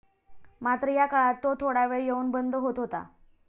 मात्र या काळात तो थोडा वेळ येऊन बंद होत होता.